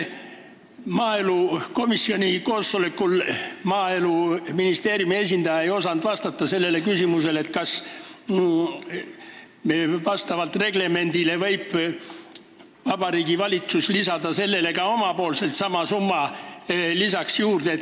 Maaelukomisjoni koosolekul ei osanud aga Maaeluministeeriumi esindaja vastata sellele küsimusele, kas reglemendi järgi võib Vabariigi Valitsus lisada sellele sama summa juurde.